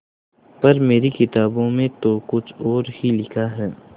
पर मेरी किताबों में तो कुछ और ही लिखा है